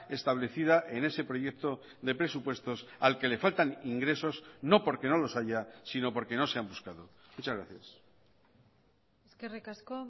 establecida en ese proyecto de presupuestos al que le faltan ingresos no porque no los haya sino porque no se han buscado muchas gracias eskerrik asko